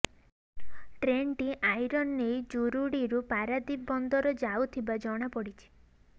ଟ୍ରେନଟି ଆଇରନ ନେଇ ଜୁରୁଡ଼ିରୁ ପାରାଦ୍ୱୀପ ବନ୍ଦର ଯାଉଥିବା ଜଣାପଡିଛି